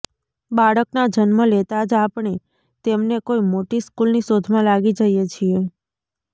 બાળકના જન્મ લેતા જ આપણે તેમને કોઈ મોટી સ્કૂલની શોધમાં લાગી જઈએ છીએ